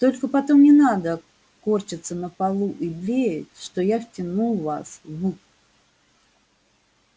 только потом не надо корчиться на полу и блеять что я втянул вас в